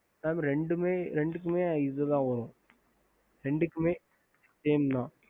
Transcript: ஹம்